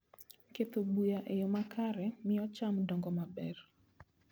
Ketho buya e yo makare miyo cham dongo maber.